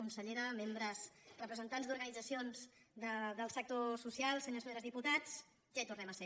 consellera representants d’organitzacions del sector social senyors i senyores diputats ja hi tornem a ser